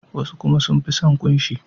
Wasu kuma sun fi son kunshi.